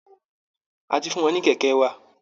A ti fún wọn ní kẹ̀kẹ́ wa